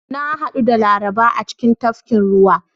Na hadu da Laraba a cikin tafkin ruwa.